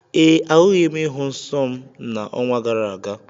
Ee, ahụghị m ịhụ nsọ m n'ọnwa gara aga.